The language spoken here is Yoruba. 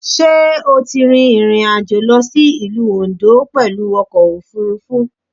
Sé o ti rin ìrìnàjò lọ sí Ìlú Oǹdó pẹ̀lú ọkò òfurufú?